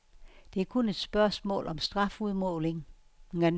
Det er kun et spørgsmål om strafudmålingen.